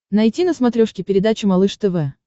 найти на смотрешке передачу малыш тв